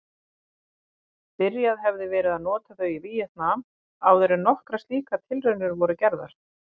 Byrjað hefði verið að nota þau í Víetnam áðuren nokkrar slíkar tilraunir voru gerðar.